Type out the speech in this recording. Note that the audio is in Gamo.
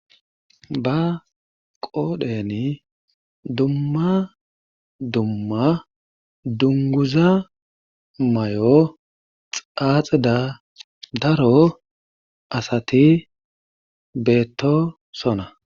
Ba qoodheni dumma dumma dungguza mayo xaaxida daro asaati beettoosona.